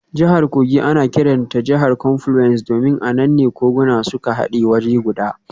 Jihar Kogi ana kiranta jihar confluence domin a nan ne koguna suka hade waje guda.